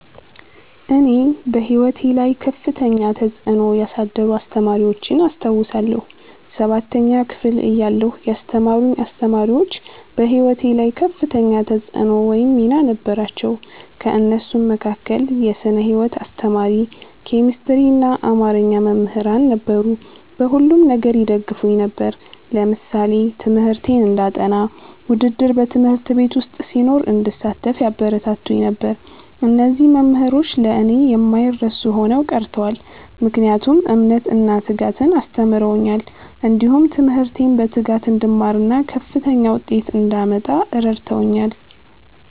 እኔ በሕይወቴ ላይ ከፍተኛ ተጽዕኖ ያሳደሩ አስተማሪዎችን አስታውሳለሁ። ሠባተኛ ክፍል እያለሁ ያስተማሩኝ አስተማሪዎች በህይወቴ ላይ ከፍተኛ ተፅዕኖ ወይም ሚና ነበራቸው። ከእነሱም መካከል የስነ ህይወት አስተማሪ፣ ኬሚስትሪና አማርኛ መምህራን ነበሩ። በሁሉም ነገር ይደግፉኝ ነበር። ለምሳሌ ትምህርቴን እንዳጠ፤ ውድድር በ ት/ቤት ዉስጥ ሲኖር እንድሳተፍ ያበረታቱኝ ነበር። እነዚህ መምህሮች ለእኔ የማይረሱ ሆነው ቀርተዋል። ምክንያቱም እምነትን እና ትጋትን አስተምረውኛል። እንዲሁም ትምህርቴን በትጋት እንድማርና ከፍተኛ ዉጤት እንዳመጣ እረድተውኛል።